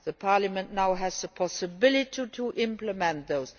Parliament now has the possibility to implement those.